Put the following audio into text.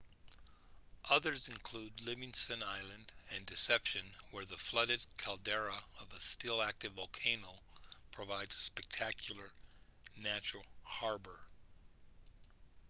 others include livingston island and deception where the flooded caldera of a still-active volcano provides a spectacular natural harbour